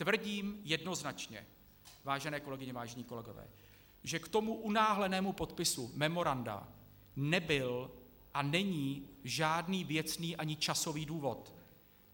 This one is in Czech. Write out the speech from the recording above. Tvrdím jednoznačně, vážené kolegyně, vážení kolegové, že k tomu unáhlenému podpisu memoranda nebyl a není žádný věcný ani časový důvod.